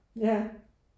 Ja